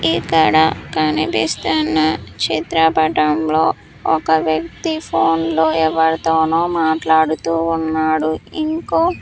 ఇక్కడ కనిపిస్తున్న చిత్రపటంలో ఒక వ్యక్తి ఫోన్లో ఎవరితో మాట్లాడుతూ ఉన్నాడు ఇంకో.